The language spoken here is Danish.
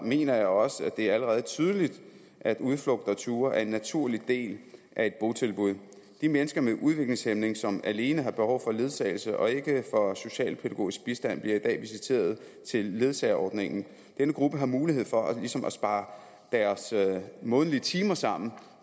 mener jeg også at det allerede tydeligt at udflugter og ture er en naturlig del af et botilbud de mennesker med udviklingshæmning som alene har behov for ledsagelse og ikke for socialpædagogisk bistand bliver i dag visiteret til ledsagerordningen denne gruppe har mulighed for ligesom at spare deres månedlige timer sammen